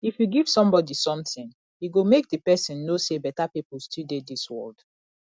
if you give somebody something e go make the person know say beta people still dey dis world